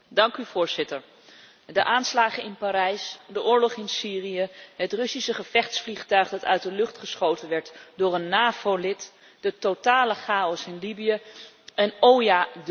De aanslagen in Parijs, de oorlog in Syrië, het Russische gevechtsvliegtuig dat uit de lucht geschoten werd door een NAVO lid, de totale chaos in Libië en, o ja, de vluchtelingencrisis.